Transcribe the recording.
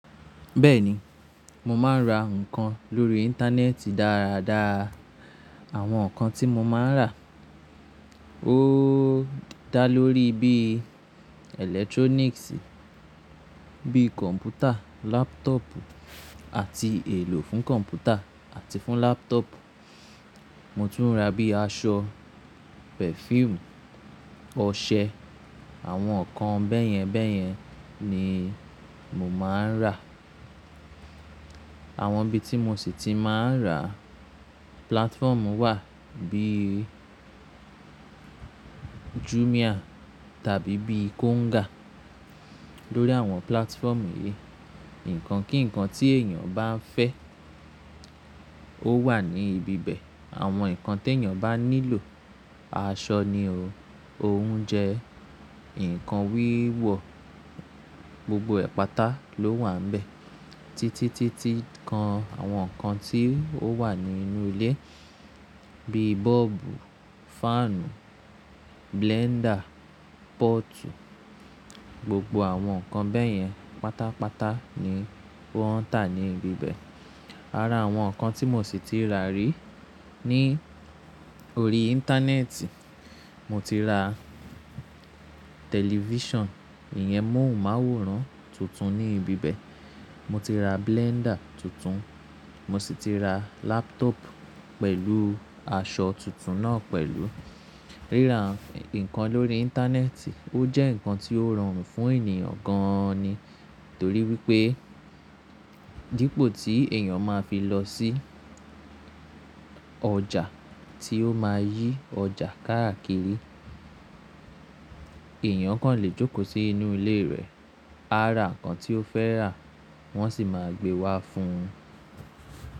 Bẹ́ẹ̀ni, mo máa ń ra nǹkan lórí Íńtánẹ́ẹ̀tì dáradára. Àwọn nǹkan tí mo máa ń rà ó dá lórí bí ìlẹ́tróníìksì bíi kọ̀m̀pútà, lápútọ̀pù àti èlò fún kọ̀m̀pútà àti fún lápútọ̀pù. Mo tún ra bíi aṣọ, pẹfíìmù, ọṣẹ, àwọn nǹkan bẹ́yẹn bẹ́yẹn ni mo máa ń rà. Àwọn ibi tí mo sì ti máa ń rà, púlátfọ́ọ̀mù wà bíì Jumia tàbí bíì Konga. Lórí àwọn púlátfọ́ọ̀mù yìí, ǹkan kíǹkan tí èèyàn bá ń fẹ́ ó wà ní ibi bẹ̀. Àwọn nǹkan tí èèyàn bá nílò, aṣọ ni o, oúnjẹ, ǹkan wíwọ̀, gbogbo ẹ̀pátá ló wà níbẹ̀. Títí, títí kan àwọn nǹkan tí ó wà nínú ilé bíi bọ́ọ̀bù, fáànù, bélẹ́ndà, pọ́ọ̀tù gbogbo àwọn nǹkan bẹ́yẹn pátápátá ni wọ́n ń tà ní ibi bẹ̀. Ara àwọn nǹkan tí mo sì ti rà rí ní orí Íńtánẹ́ẹ̀tì, mo ti ra tẹ̀lifísàn, ìyẹn mọ̀hùnmáwòrán tuntun ní ibi bẹ̀. Mo ti ra bélẹ́ndà tuntun, mo sì ti ra lápútọ̀pù pẹ̀lú aṣọ tuntun náà pẹ̀lú. Ríra ǹkan lórí Íńtánẹ́ẹ̀tì ó jẹ́ ǹkan tí ó rọrùn fún èèyàn gan-an ni. Torí wípé dípò tí èèyàn máa fi lọ sí ọjà tí ó máa yí ọjà káàkiri, èèyàn kàn lè jókòó sí inú ilé rẹ̀, á ra ǹkan tí ó fẹ́ rà wọ́n sì máa gbé wá fún un.